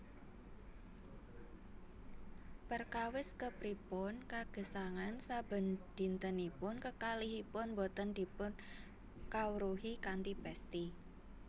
Perkawis kepripun kagesangan sabendintenipun kekalihipun boten dipunkawruhi kanthi pesthi